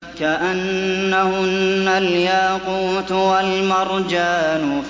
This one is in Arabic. كَأَنَّهُنَّ الْيَاقُوتُ وَالْمَرْجَانُ